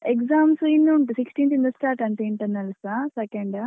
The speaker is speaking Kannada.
Exams ಇನ್ನು ಉಂಟು sixteenth ಇಂದ start ಅಂತೆ internals second .